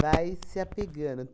vai se apegando.